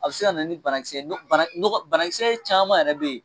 A bɛ se ka nana ni banakisɛ nɔk banakisɛ caman yɛrɛ be yen.